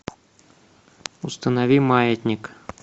установи маятник